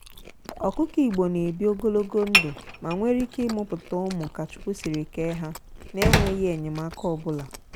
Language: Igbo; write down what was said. ọkụkọ igbo na ebi ogologo ndụ ma nwere ike ịmuputa ụmụ ka chukwu siri ke ha na enweghị enyemaka obula.